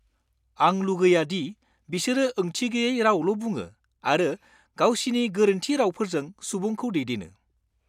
आं लुगैया दि बिसोरो ओंथिगोयै रावल' बुङो आरो गावसिनि गोरोन्थि रावफोरजों सुबुंखौ दैदेनो।